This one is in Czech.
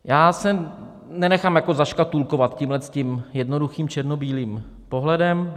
Já se nenechám zaškatulkovat tímto jednoduchým černobílým pohledem.